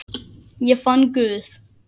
Ég fann Guð.